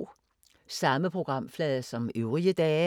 Samme programflade som øvrige dage